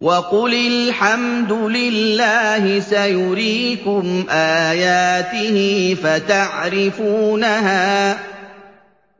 وَقُلِ الْحَمْدُ لِلَّهِ سَيُرِيكُمْ آيَاتِهِ فَتَعْرِفُونَهَا ۚ